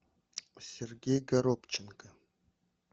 сергей горобченко